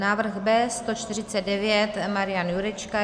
Návrh B149 - Marian Jurečka.